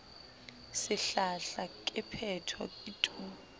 sehlahla ke phetho ke tu